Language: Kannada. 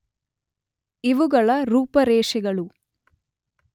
ಇವುಗಳ ರೂಪರೇಷೆಗಳು